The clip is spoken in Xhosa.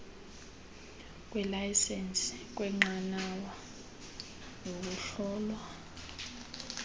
kweelayisenisi kweenqanawa ukuhlolwa